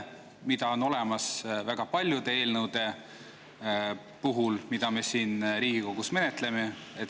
See on väga paljude eelnõude puhul, mida me siin Riigikogus menetleme.